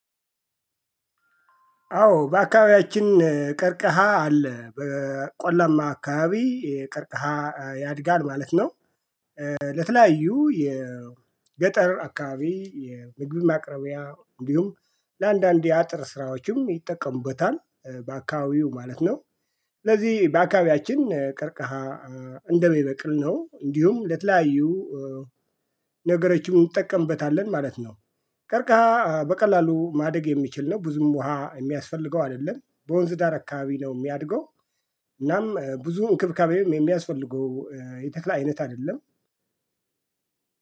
አዎ በአካባቢያችን ቀርቅሃ አለ በቆላማ አካባቢ ቀርቅሃ ያድጋል ማለት ነው። ለተለያዩ የገጠር አካባቢ የምግብ ማቅረቢያ እንዲሁም ለአንዳንድ የአጥር ስራዎችም ይጠቀሙበታል። በአካባቢው ማለት ነው። ስለዚህ ባካባቢያችን ቀርቃሃ እንደሚበቅል ነው እንዲሁም ለተለያዩ ነገሮችን እንጠቀምበታለን ማለት ነው። ቀርቃሃ በቀላሉ ማደግ የሚችል ነው ብዙም ውሃ የሚያስፈልገው አይደለም በወንዝ ዳር አካባቢ ነው የሚያድገው። እናም ብዙ እንክብካቤም የሚያስፈልገው የተክል አይነት አይደለም።